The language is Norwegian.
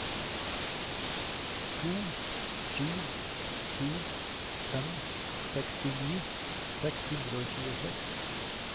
to sju sju fem sekstini seks hundre og tjueseks